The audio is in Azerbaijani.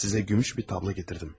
Sizə gümüş bir tabla gətirdim.